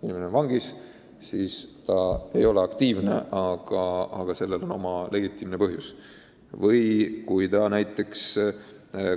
Kui inimene on vangis, siis ta ei ole aktiivne, aga sellel on legitiimne põhjus, samuti siis, kui keegi